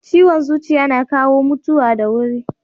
Ciwon zuciya na kawo mutuwa da wuri.